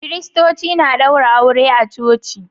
Kiristoci na daura aure a coci